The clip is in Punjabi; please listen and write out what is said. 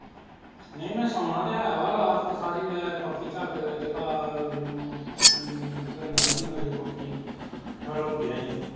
ਨਹੀਂ ਮੈ ਸੋਣਾ ਤੇ ਹੈ ਵਾ ਰਾਤ ਤੇ ਸਾਰੀ ਮੈਂ ਪੱਖੀ ਚਾਕ ਚਕਾ ਹਲੋਦੇਆ ਈ